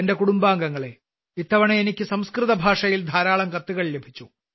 എന്റെ കുടുംബാംഗങ്ങളേ ഇത്തവണ എനിക്ക് സംസ്കൃതഭാഷയിൽ ധാരാളം കത്തുകൾ ലഭിച്ചു